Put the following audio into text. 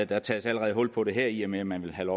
der tages allerede hul på det her i og med at man vil have